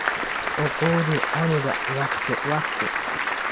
Uu Quudi canuga wakhti wakhti.